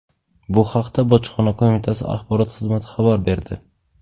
Bu haqda Bojxona qo‘mitasi axborot xizmati xabar berdi.